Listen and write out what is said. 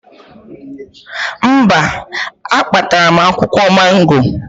Mba, akpatara m akwụkwọ mango